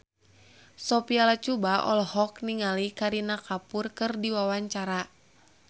Sophia Latjuba olohok ningali Kareena Kapoor keur diwawancara